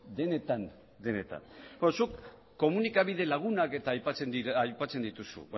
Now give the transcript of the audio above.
zuk komunikabide lagunak aipatzen dituzu